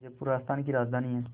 जयपुर राजस्थान की राजधानी है